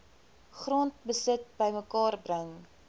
grondbesit bymekaar bring